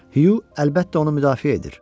Hyu əlbəttə onu müdafiə edir.